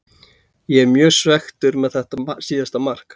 Ég er mjög svekktur með þetta síðasta mark.